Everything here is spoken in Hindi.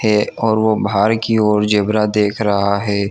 है और वह बहार की ओर जेब्रा देख रहा है।